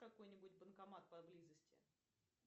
какой нибудь банкомат поблизости